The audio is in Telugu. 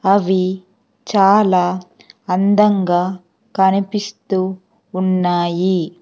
అవీ చాలా అందంగా కనిపిస్తూ ఉన్నాయి.